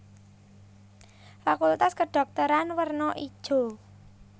Fakultas Kedhokteran werna ijo